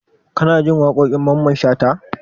Kanajin waƙoƙin mamman shata?